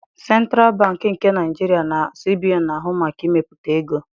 Sentralụ Bankị nke Naịjirịa (CBN) na-ahụ maka imepụta ego